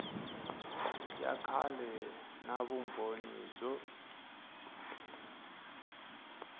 ya kahle na vumbhoni byo